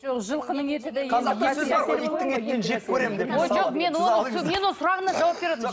жоқ жылқынын еті де ой жоқ мен оның мен оның сұрағына жауап беріп отырмын